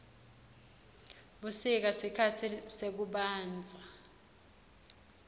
busika sikhatsi sekubandza